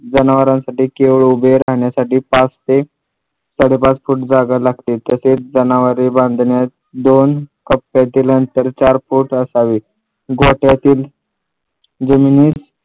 जनावरांसाठी बेर उभं राहण्यासाठी पाच ते साडेपाच फूट जागा लागते तसेच जनावरे बांधण्यास दोन कप्प्यातील अंतर चार फूट असावे गोठ्यातील जमिनी